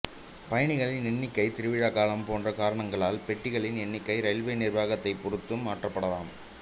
பயணிகளின் எண்ணிக்கை திருவிழா காலம் போன்ற காரணங்களால் பெட்டிகளின் எண்ணிக்கை ரயில்வே நிர்வாகத்தை பொருத்து மாற்றப்படலாம்